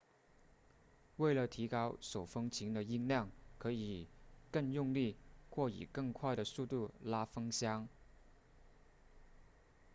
为了提高手风琴的音量可以更用力或以更快的速度拉风箱